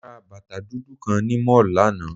Mo ra bàtà dúdú kan ni Mall náà